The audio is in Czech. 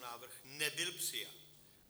Návrh nebyl přijat.